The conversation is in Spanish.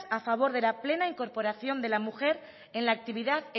a favor de la plena incorporación de la mujer en la actividad